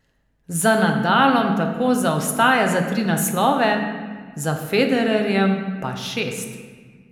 Za Nadalom tako zaostaja za tri naslove, za Federerjem pa šest.